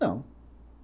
Não.